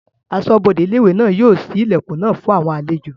Asọ́bodè ilé-ìwé náà yóò ṣí ilẹ̀kùn náà fún àwọn àlejò